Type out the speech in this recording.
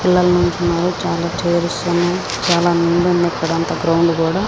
పిల్లలు నించున్నారు చాలా చైర్స్ ఉన్నాయ్ చాలా ఇక్కడంతా గ్రౌండ్ కూడా --